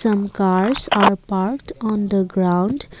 some cars are parked on the ground.